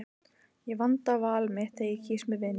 Ég vanda val mitt þegar ég kýs mér vini.